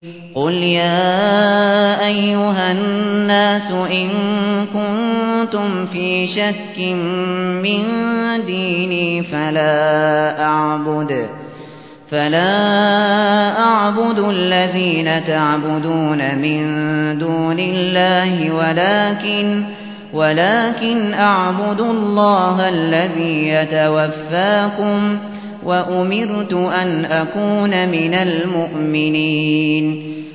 قُلْ يَا أَيُّهَا النَّاسُ إِن كُنتُمْ فِي شَكٍّ مِّن دِينِي فَلَا أَعْبُدُ الَّذِينَ تَعْبُدُونَ مِن دُونِ اللَّهِ وَلَٰكِنْ أَعْبُدُ اللَّهَ الَّذِي يَتَوَفَّاكُمْ ۖ وَأُمِرْتُ أَنْ أَكُونَ مِنَ الْمُؤْمِنِينَ